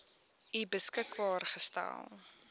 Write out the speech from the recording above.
u beskikbaar gestel